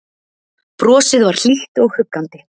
Brosið var hlýtt og huggandi.